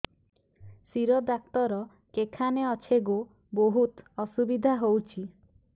ଶିର ଡାକ୍ତର କେଖାନେ ଅଛେ ଗୋ ବହୁତ୍ ଅସୁବିଧା ହଉଚି